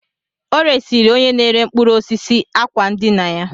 O resịrị onye na-ere mkpụrụ osisi àkwá ndina ya